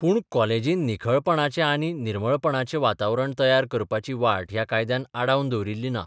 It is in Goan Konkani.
पूण कॉलेजींत निखळपणाचें आनी निर्मळपणाचें वातावरण तयार करपाची वाट ह्या कायद्यान आडावन दवरिल्ली ना.